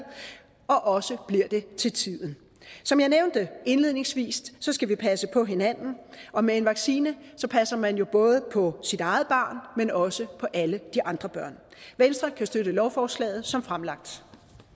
og også bliver det til tiden som jeg nævnte indledningsvis skal vi passe på hinanden og med en vaccine passer man jo både på sit eget barn men også alle de andre børn venstre kan støtte lovforslaget som fremsat